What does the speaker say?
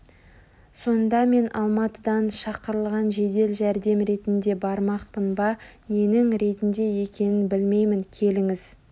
сонда мен алматыдан шақырылған жедел жәрдем ретінде бармақпын ба ненің ретінде екенін білмеймін келіңіз